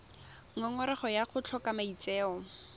ngongorego ya go tlhoka maitseo